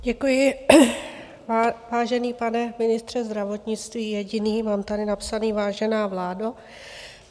Děkuji, vážený pane ministře zdravotnictví, jediný - mám tady napsané vážená vládo.